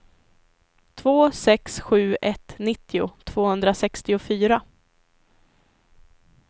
två sex sju ett nittio tvåhundrasextiofyra